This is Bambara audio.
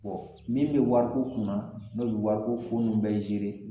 Bɔn min ye wariko kunna n'o be wariko ko nun bɛɛ zere